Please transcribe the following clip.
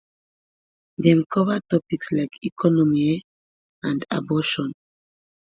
dem cover topics like economy um and abortion